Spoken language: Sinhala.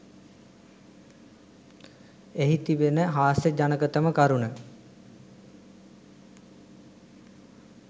එහි තිබෙන හාස්‍යජනකතම කරුණ